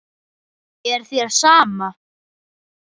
Er þér sama?